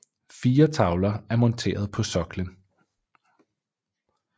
Fire tavler er monteret på soklen